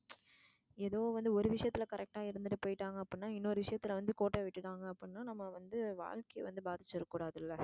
ஏதோ வந்து ஒரு விஷயத்துல correct டா இருந்துட்டு போய்ட்டாங்க அப்படினா இன்னொரு விஷயத்துல வந்து கோட்ட விட்டுட்டாங்க அப்படினா நம்ம வந்து வாழ்க்கைய வந்து பாதிச்சிட கூடாது இல்லை.